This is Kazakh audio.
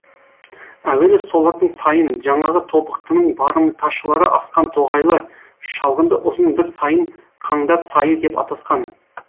әуелі солардың сайын жаңағы тобықтының барымташылары асқан тоғайлы шалғынды ұзын бір сайын қандар сайы деп атасқан